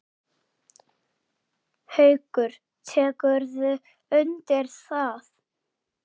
Haukur: Tekurðu undir það?